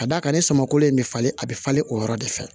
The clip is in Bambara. Ka d'a kan ne samakolen bɛ falen a bɛ falen o yɔrɔ de fɛ